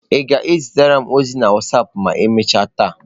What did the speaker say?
Ị ga-ezitere m ozi na wasapụ ma emechaa taa?